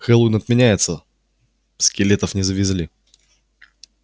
хэллоуин отменяется скелетов не завезли